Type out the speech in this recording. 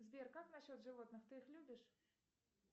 сбер как насчет животных ты их любишь